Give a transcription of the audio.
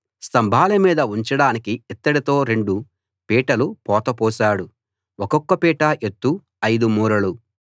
స్తంభాల మీద ఉంచడానికి ఇత్తడితో రెండు పీటలు పోత పోశాడు ఒక్కొక్క పీట ఎత్తు 5 మూరలు